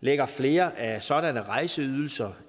lægger flere af sådanne rejseydelser